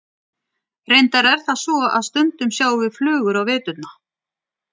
reyndar er það svo að stundum sjáum við flugur á veturna